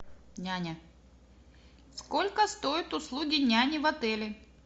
няня сколько стоят услуги няни в отеле